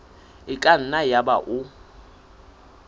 e ka nna yaba o